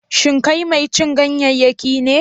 Shin kai mai cin ganyayyaki ne?